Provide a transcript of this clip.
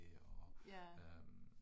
Ja